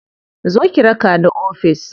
Zo ki raka ni ofis.